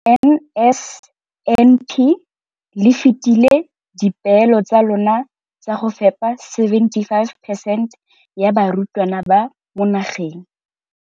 Ka NSNP le fetile dipeelo tsa lona tsa go fepa masome a supa le botlhano a diperesente ya barutwana ba mo nageng.